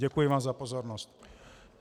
Děkuji vám za pozornost.